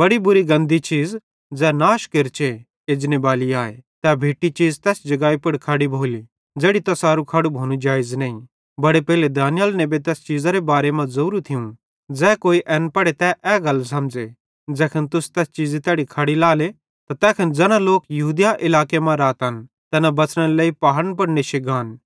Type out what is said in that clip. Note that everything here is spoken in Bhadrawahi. बड़ी बुरी गंदी चीज़ ज़ै नाश केरचे एजनेबाली आए तै भिट्टी चीज़ तैस जगाई पुड़ खड़ी भोली ज़ेड़ी तैसारू खड़ू भोनू जेइज़ नईं बड़े पेइले दानिय्येल नेबे तैस चीज़ेरे बारे मां ज़ोरू थियूं ज़ै कोई एन पढ़े तै ए गल समझ़े ज़ैखन तुस तै चीज़ी तैड़ी खड़ी लाएले त तैखन ज़ैना लोक यहूदिया इलाके मां रातन तैना बच़नेरे लेइ पहाड़न पुड़ नेश्शी गान